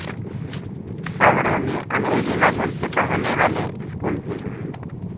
शहरों में अंग्रेजी माध्यम से पढाने वाले स्कूल भी हैं